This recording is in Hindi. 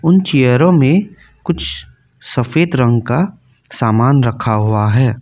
उन चियरो में कुछ सफेद रंग का सामान रखा हुआ है।